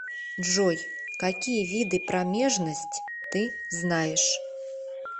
джой какие виды промежность ты знаешь